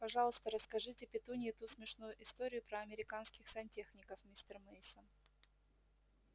пожалуйста расскажите петунье ту смешную историю про американских сантехников мистер мейсон